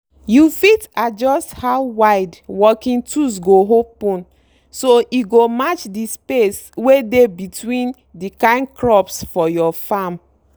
you fit adjust how wide working tools go open so e go match the space wey dey between dey kin crops for your farm.